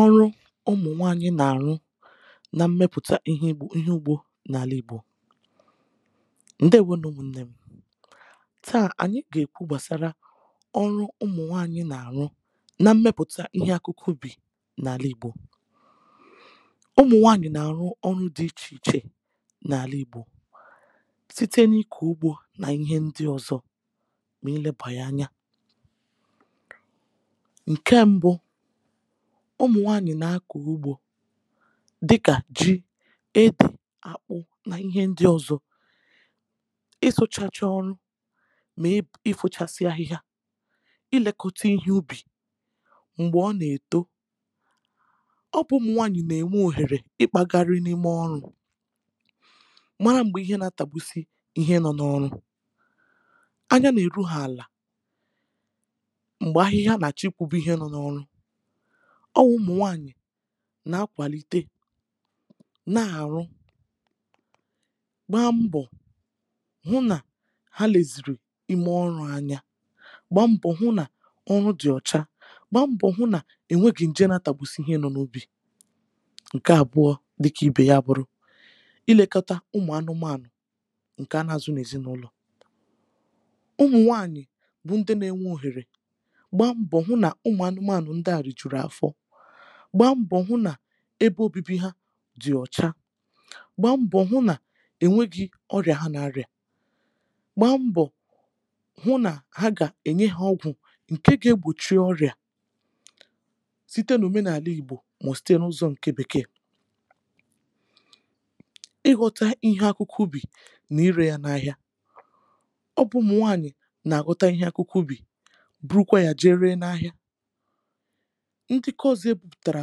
ọrụ ụmụ̀nwaànyị nà-àrụ nà mmepùta ihe egbò ihe ugbȯ n’ala igbò: Ndewȯ nụ ụmụ̀nnè m̀. Taà ànyị gà-èkwu gbàsara ọrụ ụmụ̀nwaànyị nà-àrụ nà mmepùta ihe akụkụ bi̇ n’ala igbò. ụmụ̀nwaànyị nà-àrụ ọrụ di ichè ichè n’ala igbò site n’ikò ugbȯ nà ihe ndi ọzọ,̇ mà ilebà yà anya. Nkè ṁbụ, ụmụ̀nwaànyị̀ nà-akọ̀ ugbȯ dịkà ji, ede, àkpụ nà ihe ndị ọzọ. ị sụchachọ ọrụ, mà ị fụchasị ahịhịa, ị lėkọta ihe ubì m̀gbè ọ nà-èto. Ọ bụ ụmụ̀nwaànyị̀ nà-ènwe òhèrè ịkpȧgȧrị n’ime ọrụ,̇ mara m̀gbè ihe nà-atàgbusi ihe nọ n’ọrụ. Anya nà-èru ha àlà, mgbè ahihia nà-acho ikwùgbu Ihe no nà-ọrụ. Ọ wụ̇ ụmụ̀nwaànyị̀ na-akwàlite, na-àrụ, gbaa mbọ̀, hụ nà ha lèzìrì ime ọrụ̇ anya. Gbaa mbọ̀ hụ nà ọrụ dị̀ ọ̀cha. Gbaa mbọ̀ hụ nà ènwe gị̀ nje na tàgbusi ihe nọ̇ n’ubi. Nke àbụọ, dịkà ibè ya a bụrụ, ilekata ụmụ̀ anụmȧnụ̀, ǹkè anà azụ n’ezinụlọ̀; ụmụ̀nwaànyị̀ bụ ndị na-enwe òhèrè gbaa mbọ̀ hụ nà ụmụ̀ anụmȧnụ̀ ndị a rijuru afo, gbaa mbọ̀ hụ nà ebe obibi ha dị̀ ọ̀cha, gbaa mbọ̀ hụ nà enweghị̇ ọrịà ha n’arị̀à, gbaa mbọ̀ hụ nà ha gà ènye ha ọgwụ̀ ǹke ga-egbòchie ọrịà, site n’omenààlà Igbo mà ọ̀ site n’ụzọ̀ ǹke bekee. ịghọta ihe akụkụ ubì nà irė ya n’ahịa. Ọ bụ̇ụmụ̀nwaànyị̀ nà-aghọta ihe akụkụ ubì, burukwa yà jee ree n’ahịa. Ndị nkọọ̇zị̇ e bùpùtàrà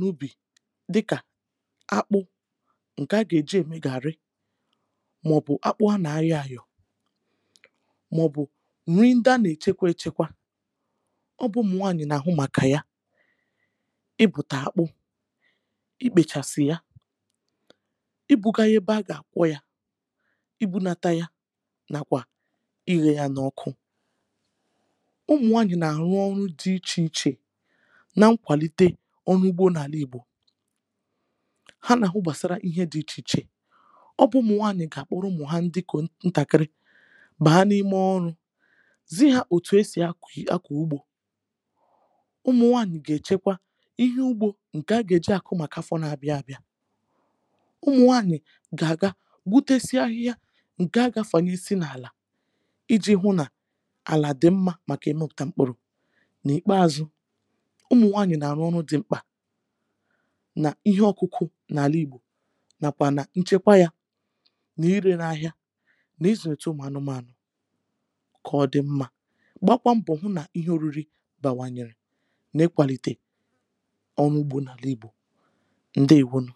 n’ubì dịkà; akpụ, ǹkè a gà-èji ème gààrrị, màọbụ̀ akpụ à nà-ayọ ȧyọ,̇ màọbụ̀ nri ndị a nà-èchekwa ėchekwa, ọ bụ̇ ụmụ̀nwaànyị̀ị̀ nà-àhụ màkà ya. I bùtà akpụ, i kpèchàsị̀ ya, i buga ya ebe a gà-àkwọ ya, i bunata ya, nà kwà, iyė ya n’ọkụ. ụmụ̀nwànyị̀ nà-àrụ ọrụ dị ichè ichè, na mkwalite ọrụ ugbȯ n’àla ìgbò. Ha nà-àhụ gbàsara ihe dị̇ ichè ichè. Ọ bụ̇ ụmụ̀nwaàyị̀ gà-àkpọrọ ụmụ̀ hà ndị nke nntàkịrị bàa n’ime ọrụ,̇ zi ha òtù esì aki akọ̀ ụgbọ.̇ ụmụ̀nwaànị̀ gà-èchekwa ihe ugbȯ ǹkè a gà-èji àkụ màkà afọ n’abịa abịa. ụmụ̀nwaànị̀ gà-àga gbutesia ahịhịa ǹkè agafanye si n’àlà, iji̇ hụ nà àlà dị mmȧ màkà imepụtà mkpụ̀rụ̀. N’ìkpeazụ,̇ụmụ̀nwànyị̀ nà-àrụ ọrụ dị mkpa nà ihe ọkụkụ̇ n’àla ìgbò. N'àkwà nà nchekwa yȧ, nà ire n’ahịa, nà izulitė ụmụ ànụmànụ̀ kà ọ dị mmȧ. Gbakwa ṁbọ̀ hụ nà ihe oriri bàwànyèrè n’ịkwàlìtè ọrụ ugbȯ n’àla ìgbò. Ndewonu!